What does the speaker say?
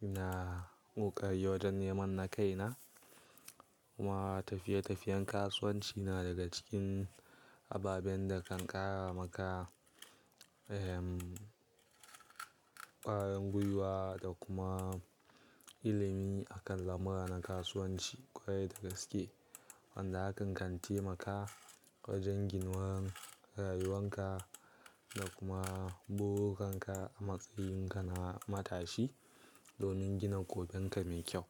na ƙoƙari wajen neman na kaina. Kuma tafiye-tafiyen kasuwanci na daga cikin ababen da kan ƙara maka, ehm ƙwarin gwiwa da kuma ilimi akan lamura na kasuwanci ƙwarai da gaske wanda hakan kan taimaka wajen ginuwan rayuwanka da kuma burinan ka a matsayin kana matashi domin gina goben ka me kyau.